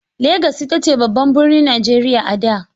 Legas ita ce babban birnin Najeriya a da.